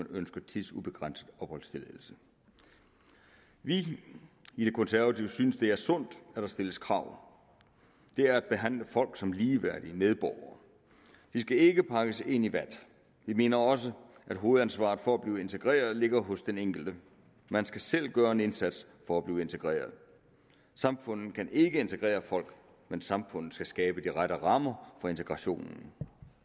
ønsker tidsubegrænset opholdstilladelse vi i de konservative synes at det er sundt at der stilles krav det er at behandle folk som ligeværdige medborgere de skal ikke pakkes ind i vat vi mener også at hovedansvaret for at blive integreret ligger hos den enkelte man skal selv gøre en indsats for at blive integreret samfundet kan ikke integrere folk men samfundet skal skabe de rette rammer for integrationen